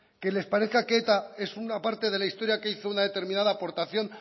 que les parezca que eta es una parte de la historia que hizo una determinada aportación